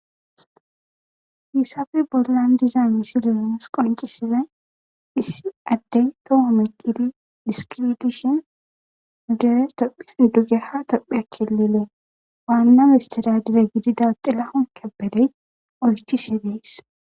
hisafe bollan diza misi leonus qoncisizay issi addey doho me qidi diskiidishin udere tophian dugeha topheakkililee waanname istidadire gidida xilahon kebeley oychishi biis